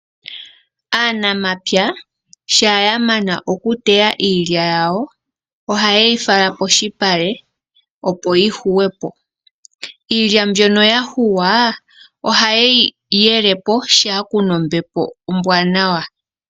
Aanamapya shampa yamana okuteya iilya yawo, ohayeyi fala polupale, opo yika yungulwepo. Iilya mbyono ya yungulwa ,ohayeyi yelepo shampa kuna ombepo ombwaanawa.